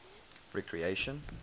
recreation